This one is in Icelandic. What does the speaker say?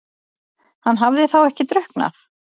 Hann hafði þá ekki drukknað?